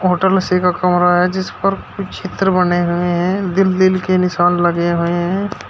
Hotel उसी का कमरा है जिस पर कुछ चित्र बने हुए हैं दिल दिल के निशान लगे हुए हैं।